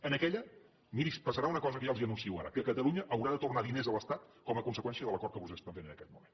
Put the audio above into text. en aquella miri passarà una cosa que ja els anuncio ara que catalunya haurà de tornar diners a l’estat com a conseqüència de l’acord que vostès estan fent en aquest moment